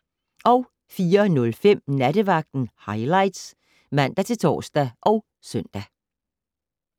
04:05: Nattevagten Highlights (man-tor og søn)